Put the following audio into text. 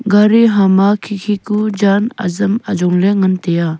gari hama khi khi ku jan azam ajongley ngantiya.